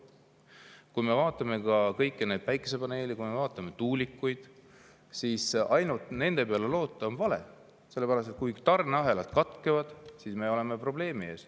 Kui me vaatame kõiki neid päikesepaneele, kui me vaatame tuulikuid, siis ainult nende peale loota on vale, sellepärast et kui tarneahelad katkevad, siis me oleme probleemi ees.